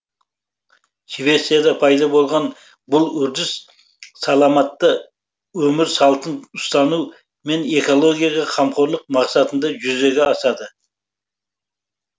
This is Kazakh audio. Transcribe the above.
швецияда пайда болған бұл үрдіс саламатты өмір салтын ұстану мен экологияға қамқорлық мақсатында жүзеге асады